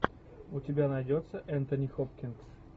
у тебя найдется энтони хопкинс